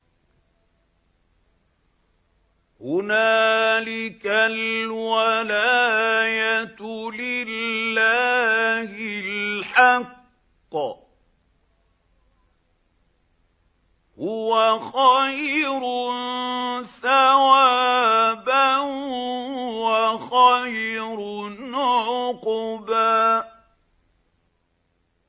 هُنَالِكَ الْوَلَايَةُ لِلَّهِ الْحَقِّ ۚ هُوَ خَيْرٌ ثَوَابًا وَخَيْرٌ عُقْبًا